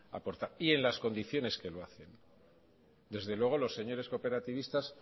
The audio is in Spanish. aportar y en las condiciones que lo hacen desde luego los señores cooperativistas